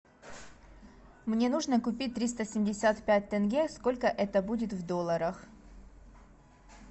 мне нужно купить триста семьдесят пять тенге сколько это будет в долларах